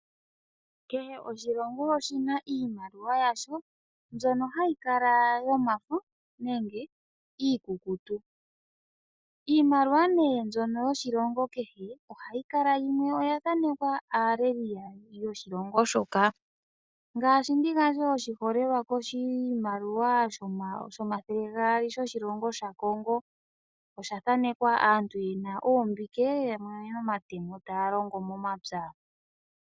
Kehe oshilongo oshina iimaliwa yasho yomafo nenge iikukutu. Iimaliwa yiilongo yimwe ohayi kala ya thaanekwa aaleli yiilongo. Oshiholelwa, oshimaliwa shomathele gaali shaKongo osha thanekwa aantu yena oombike taya longo momapya.